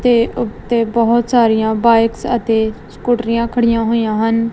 ਤੇ ਉਤੇ ਬਹੁਤ ਸਾਰੀਆਂ ਬਾਈਕਸ ਅਤੇ ਸਕੂਟਰੀਆਂ ਖੜੀਆਂ ਹੋਈਆਂ ਹਨ।